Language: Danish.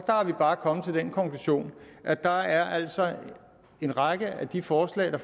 er vi bare kommet til den konklusion at der altså er en række af de forslag der